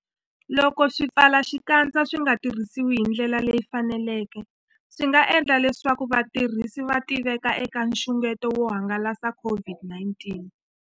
Loko swipfalaxikandza swi nga tirhisiwi hi ndlela leyi faneleke, swi nga endla leswaku vatirhisi va tiveka eka nxungeto wo hangalasa COVID-19.